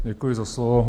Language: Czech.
Děkuji za slovo.